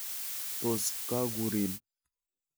Tos kakurin?